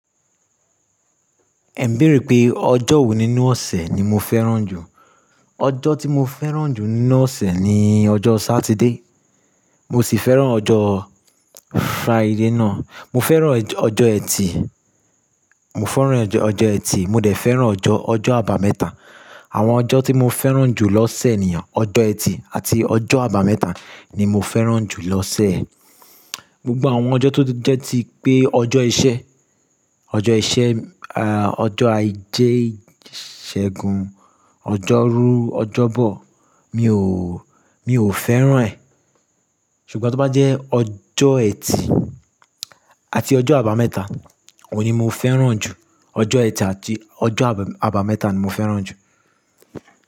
Ẹ̀ ń bèèrè pé ọjọ́ wo nínú ọ̀sẹ̀ ni mo fẹ́ràn jù. Ọjọ́ tí mo fẹ́ràn jù nínú ọ̀sẹ̀ ni ọjọ́ Satide. Mo sì fẹ́ràn ọjọ́ Friday náà. Mo fẹ́ràn ọjọ́ Ẹtì, mo fẹ́ràn ọjọ́ Ẹtì, mo dẹ̀ fẹ́ràn ọjọ́, ọjọ́ àbámẹ́ta. Àwọn ọjọ́ tí mo fẹ́ràn jù lọ́sẹ̀ nìyẹn, ọjọ́ Ẹtì àti ọjọ́ àbámẹ́ta ni mo fẹ́ràn jù lọ́sẹ̀. Gbogbo àwọn ọjọ́ tó jẹ́ tí pé ọjọ́ iṣẹ́, ọjọ́ iṣẹ́, ọjọ́ ajé ìṣẹ́gun, ọjọ́rú, ọjọ́bọ̀, mi ò, mi ò fẹ́ràn ẹ̀. Ṣùgbọ́n tó bá jẹ́ ọjọ́ Ẹtì àti ọjọ́ àbámẹ́ta, òun ni mo fẹ́ràn jù. Ọjọ́ Ẹtì àti ọjọ́ ab-àbámẹ́ta ni mo fẹ́ràn jù.